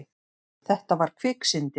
Þetta var kviksyndi.